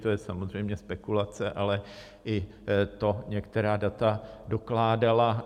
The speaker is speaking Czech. To je samozřejmě spekulace, ale i to některá data dokládala.